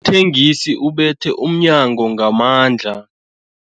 thengisi ubethe umnyango ngamandla.